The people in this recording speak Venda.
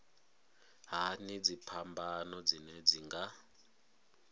hani dziphambano dzine dzi nga